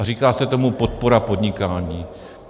A říká se tomu podpora podnikání.